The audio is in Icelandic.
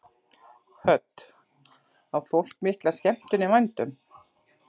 Hödd: Á fólk mikla skemmtun í vændum?